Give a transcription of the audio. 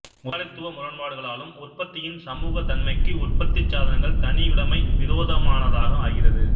முதலாளித்துவ முரண்பாடுகளாலும் உற்பத்தியின் சமூக தன்மைக்கு உற்பத்திச் சாதனங்கள் தனியுடைமை விரோதமானதாக ஆகிறது